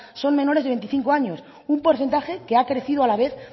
son menores de veinticinco años un porcentaje que ha crecido a la vez